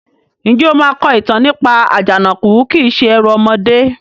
Ǹjẹ́ o máa kọ ìtàn nípa "Àjànàkú kìí se ẹrù ọmọdé"?